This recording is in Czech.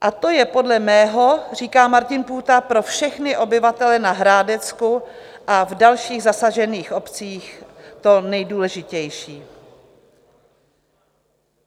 A to je podle mého - říká Martin Půta - pro všechny obyvatele na Hrádecku a v dalších zasažených obcích to nejdůležitější.